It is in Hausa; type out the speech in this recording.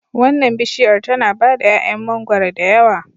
Wannan bishiyar tana bada 'ya'yan mangwaro da yawa